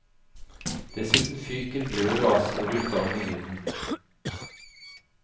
Dessuten fyker glør og aske rundt om i vinden.